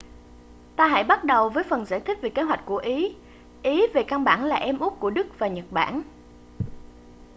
ta hãy bắt đầu với phần giải thích về kế hoạch của ý ý về căn bản là em út của đức và nhật bản